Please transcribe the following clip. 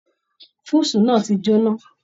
Fúúsì náà tí j'óná.